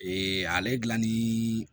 Ee ale dilanni